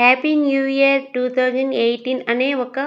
Happy new year two thousand eighteen అనే ఒక.